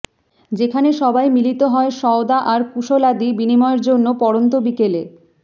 যেখানে সবাই মিলিত হয় সওদা আর কুশলাদি বিনিময়ের জন্য পড়ন্ত বিকেলে